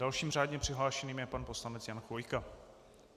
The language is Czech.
Dalším řádně přihlášeným je pan poslanec Jan Chvojka.